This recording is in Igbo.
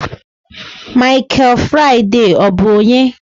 Mikel Faraday, ọ bụ onye?